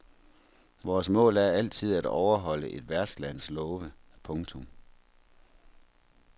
Vores mål er altid at overholde et værtslands love. punktum